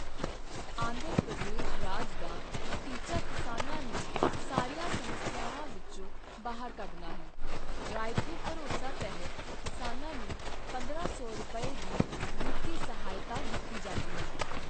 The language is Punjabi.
ਆਂਧਰਾ ਪ੍ਰਦੇਸ਼ ਰਾਜ ਦਾ ਟੀਚਾ ਕਿਸਾਨਾਂ ਨੂੰ ਸਾਰੀਆਂ ਸਮੱਸਿਆਵਾਂ ਵਿੱਚੋਂ ਬਾਹਰ ਕੱਢਣਾ ਹੈ ਰਾਏਥੂ ਭਰੋਸਾ ਤਹਿਤ ਕਿਸਾਨਾਂ ਨੂੰ ਪੰਦਰਾਂ ਸੌ ਰੁਪਏ ਦੀ ਵਿੱਤੀ ਸਹਾਇਤਾ ਦਿੱਤੀ ਜਾਂਦੀ ਹੈ।